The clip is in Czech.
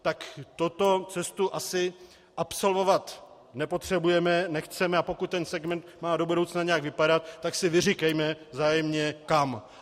Tak tuto cestu asi absolvovat nepotřebujeme, nechceme, a pokud ten segment má do budoucna nějak vypadat, tak si vyříkejme vzájemně kam.